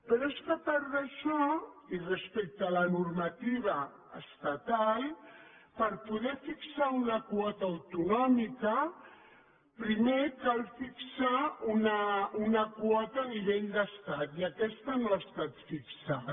però és que a part d’això i respecte a la normativa estatal per poder fixar una quota autonòmica primer cal fixar una quota a nivell d’estat i aquesta no ha estat fixada